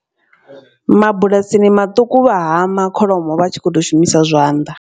Mabulasini maṱuku vha hama kholomo vha tshi khou to shumisa zwanḓa.